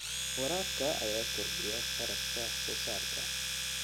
Waraabka ayaa kordhiya kharashka wax soo saarka.